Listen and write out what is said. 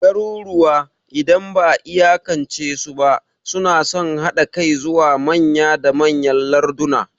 Garuruwa, idan ba'a iyakance su ba, suna son haɗa kai zuwa manya da manyan larduna.